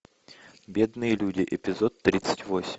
бедные люди эпизод тридцать восемь